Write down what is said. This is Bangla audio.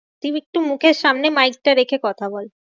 তুই একটু মুখের সামনে mike টা রেখে কথা বল।